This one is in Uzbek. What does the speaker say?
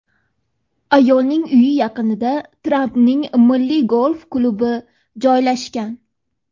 Ayolning uyi yaqinida Trampning Milliy golf klubi joylashgan.